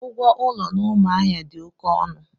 Ụgwọ ụlọ na Umuahia dị oké ọnụ.